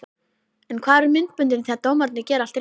En hvar eru myndböndin þegar dómararnir gera allt rétt?